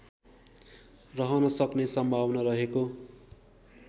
रहनसक्ने सम्भावना रहेको